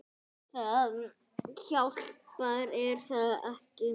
Það hjálpar er það ekki?